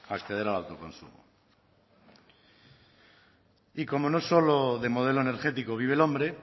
acceder al autoconsumo y como no solo de modelo energético vive el hombre